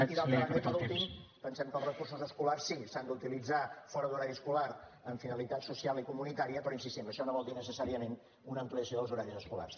i d’altra banda i per últim pensem que els recursos escolars sí s’han d’utilitzar fora d’horari escolar amb finalitat social i comunitària però hi insistim això no vol dir necessàriament una ampliació dels horaris escolars